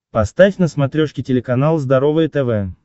поставь на смотрешке телеканал здоровое тв